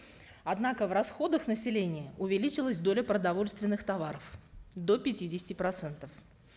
однако в расходах населения увеличилась доля продовольственных товаров до пятидесяти процентов